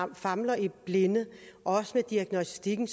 famler i blinde også med diagnostikken